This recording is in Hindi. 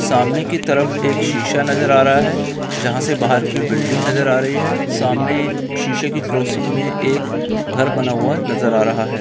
सामने की तरफ एक शीशा नजर आ रहा है जहां से बाहर की बिल्डिंग नजर आ रही है सामने शीशे की क्रोसिंग में एक घर बना हुआ है नजर आ रहा है।